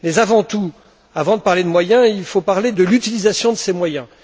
Mais avant tout, avant de parler de moyens, il faut parler de l'utilisation de ces moyens.